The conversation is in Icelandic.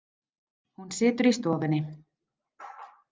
Hún situr í stofunni.